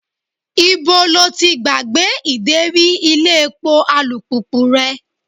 Ibo lo ti gbàgbé ideri ilé epo alùpùpù rẹ?